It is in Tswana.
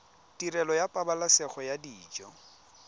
tirelo ya pabalesego ya dijo